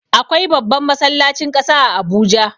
Akwai babban masallacin ƙasa a Abuja.